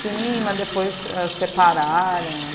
Sim, mas depois, ãh separaram.